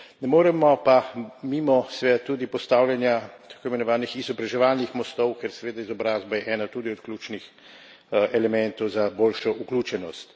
Ne moremo pa mimo, seveda, tudi postavljanja tako imenovanih izobraževalnih mostov, ker seveda izobrazba je ena tudi od ključnih elementov za boljšo vključenost.